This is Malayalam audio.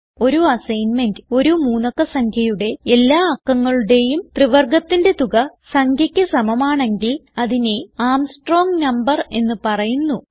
ഒരു അസൈന്മെന്റ് ഒരു മൂന്നക്ക സംഖ്യയുടെ എല്ലാ അക്കങ്ങളുടേയും ത്രിവർഗത്തിന്റെ തുക സംഖ്യക്ക് സമമാണെങ്കിൽ അതിനെ ആർമ്സ്ട്രോങ് നംബർ എന്ന് പറയുന്നു